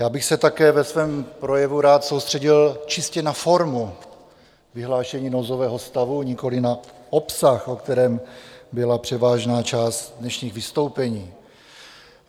Já bych se také ve svém projevu rád soustředil čistě na formu vyhlášení nouzového stavu, nikoliv na obsah, o kterém byla převážná část dnešních vystoupení.